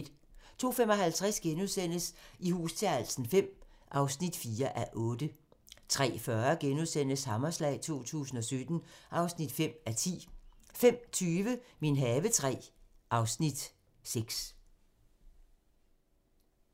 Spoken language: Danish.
02:55: I hus til halsen V (4:8)* 03:40: Hammerslag 2017 (5:10)* 05:20: Min have III (Afs. 6)